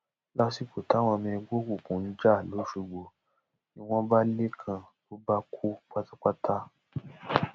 lásìkò táwọn ọmọ ẹgbẹ òkùnkùn ń jà lọsọgbọ níbọn bá lẹkan ló bá kú pátápátá